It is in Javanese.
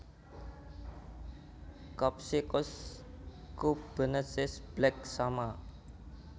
Copsychus cebuensis Black Shama